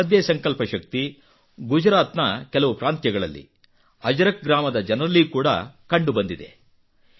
ಇಂತಹದ್ದೇ ಸಂಕಲ್ಪ ಶಕ್ತಿ ಗುಜರಾತ್ ನ ಕೆಲವು ಪ್ರಾಂತ್ಯಗಳಲ್ಲಿ ಅಜರಕ್ ಗ್ರಾಮದ ಜನರಲ್ಲಿ ಕೂಡಾ ಕಂಡು ಬಂದಿದೆ